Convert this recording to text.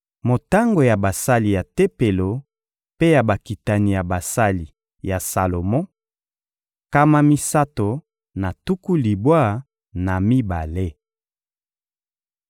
Motango ya basali ya Tempelo mpe ya bakitani ya basali ya Salomo: nkama misato na tuku libwa na mibale.